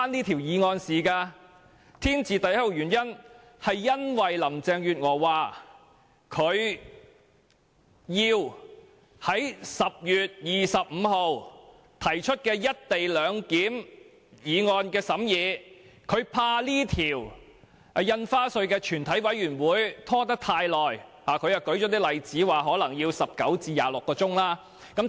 "天字第一號"原因是林鄭月娥要在10月25日提出"一地兩檢"的議案，她擔心《條例草案》在全委會審議階段的審議工作會拖延太久。